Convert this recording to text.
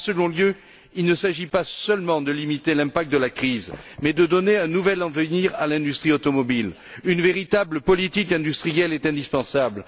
En second lieu, il ne s'agit pas seulement de limiter l'impact de la crise, mais de donner un nouvel avenir à l'industrie automobile. Une véritable politique industrielle est indispensable.